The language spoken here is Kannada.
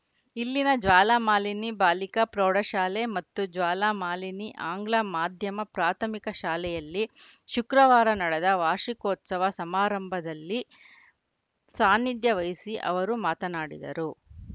ಇಲ್ಲಿನ ಜ್ವಾಲಾಮಾಲಿನಿ ಬಾಲಿಕಾ ಪ್ರೌಢಶಾಲೆ ಮತ್ತು ಜ್ವಾಲಾಮಾಲಿನಿ ಆಂಗ್ಲ ಮಾಧ್ಯಮ ಪ್ರಾಥಮಿಕ ಶಾಲೆಯಲ್ಲಿ ಶುಕ್ರವಾರ ನಡೆದ ವಾರ್ಷಿಕೋತ್ಸವ ಸಮಾರಂಭದಲ್ಲಿ ಸಾನ್ನಿಧ್ಯ ವಹಿಸಿ ಅವರು ಮಾತನಾಡಿದರು